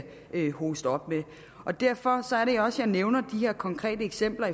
hoste op med derfor er det også at jeg nævner de her konkrete eksempler